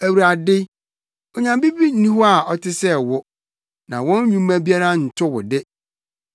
Awurade, onyame bi nni hɔ a ɔte sɛ wo; na wɔn nnwuma biara nto wo de.